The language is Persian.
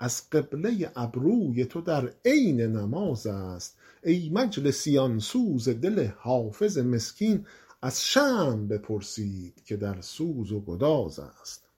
از قبله ابروی تو در عین نماز است ای مجلسیان سوز دل حافظ مسکین از شمع بپرسید که در سوز و گداز است